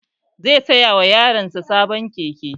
Zai saya wa yaran sa sabon keke